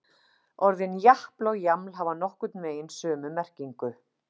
Orðin japl og jaml hafa nokkurn veginn sömu merkingu.